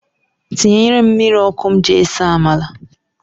Tinyere m mmiri ọkụ m ji ese amala.